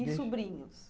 E sobrinhos?